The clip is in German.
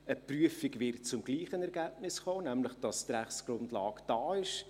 Eine Prüfung wird zu gleichen Ergebnissen kommen, nämlich, dass die Rechtsgrundlage da ist.